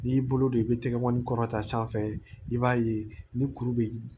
N'i y'i bolo don i bɛ tɛgɛkɔni kɔrɔta sanfɛ i b'a ye ni kuru bɛ